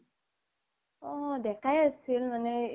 অ ডেকাই আছিল মানে